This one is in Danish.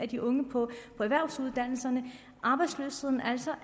de unge på erhvervsuddannelserne arbejdsløsheden er altså